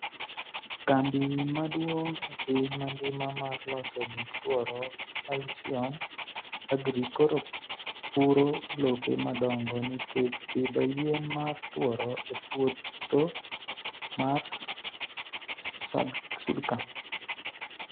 kambi maduong' e piny mangima mar loso gik tworo Halcyon Agri koro puro lope madongo nikech pidho yien mar tworo e pwotho mar Sudcam